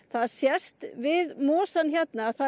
það sést við mosann hérna að það